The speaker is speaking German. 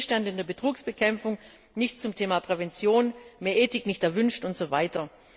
Stillstand in der Betrugsbekämpfung, nichts zum Thema Prävention, mehr Ethik nicht erwünscht und so weiter.